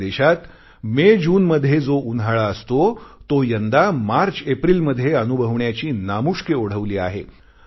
आपल्या देशात मेजून मध्ये जो उन्हाळा असतो तो यंदा मार्चएप्रिल मध्ये अनुभवण्याची नामुष्की ओढवली आहे